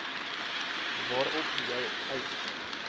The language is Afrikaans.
waarop jou eis